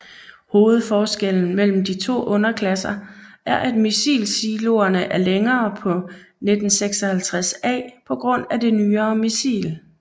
Hovedforskellen mellem de to underklasser er at missilsiloerne er længere på 956A på grund af det nyere missil